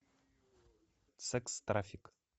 секс трафик